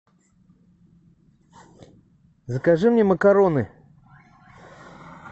закажи мне макароны